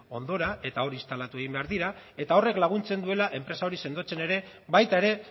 ondora eta hor instalatu egin behar dira eta horrek laguntzen duela enpresa hori sendotzen ere baita ere